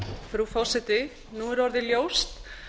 frú forseti nú er orðið ljóst